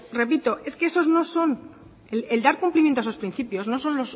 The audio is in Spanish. repito es que esos no son el dar cumplimiento a esos principios no son